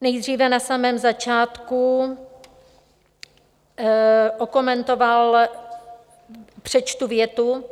Nejdříve na samém začátku okomentoval - přečtu větu: